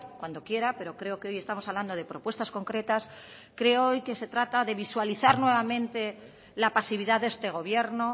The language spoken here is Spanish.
cuando quiera pero creo que hoy estamos hablando de propuestas concretas creo hoy que se trata de visualizar nuevamente la pasividad de este gobierno